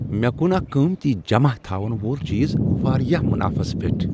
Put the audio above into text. مےٚ کن اکَھ قۭمتی جمع تھاون وول چیز واریاہ مُنافَس پیٹھ